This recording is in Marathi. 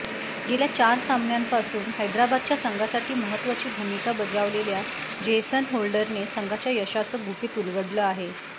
गेल्या चार सामन्यांपासून हैदराबादच्या संघासाठी महत्त्वाची भूमिका बजावलेल्या जेसन होल्डरने संघाच्या यशाचं गुपित उलगडलं आहे